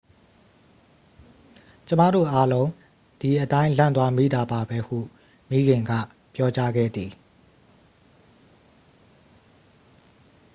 """ကျွန်မတို့အားလုံး ဒီအတိုင်း လန့်သွားမိတာပါပဲ၊""ဟု မိခင်က ပြောကြားခဲ့သည်။